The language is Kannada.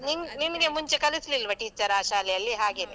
ನಿಮ್ ನಿಮ್ಗೆ ಮುಂಚೆ ಕಲಿಸ್ಲಿಲ್ವಾ teacher ಆ ಶಾಲೆಯಲ್ಲಿ ಹಾಗೆನೇ.